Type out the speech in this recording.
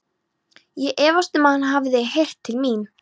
Ég efast um, að hann hafi heyrt til mín.